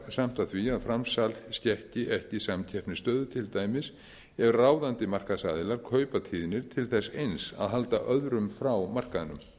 samt að því að framsal skekki ekki samkeppnisstöðu til dæmis ef ráðandi markaðsaðilar kaupa tíðnir til þess eins að halda öðrum frá markaðnum